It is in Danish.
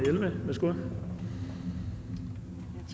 nogle